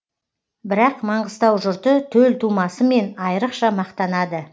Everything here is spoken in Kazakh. бірақ маңғыстау жұрты төл тумасымен айрықша мақтанады